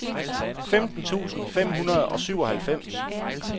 femten tusind fem hundrede og syvoghalvfems